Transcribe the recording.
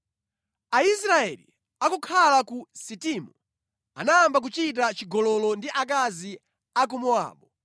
Aisraeli akukhala ku Sitimu, anayamba kuchita chigololo ndi akazi a ku Mowabu,